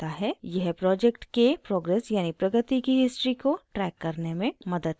यह project के progress यानि प्रगति की history को ट्रैक करने में मदद करता है